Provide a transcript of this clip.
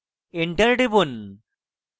enter টিপুন